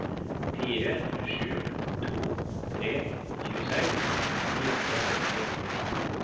fire sju to tre tjueseks ni hundre og seksti